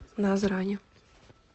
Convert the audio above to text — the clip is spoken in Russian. назрани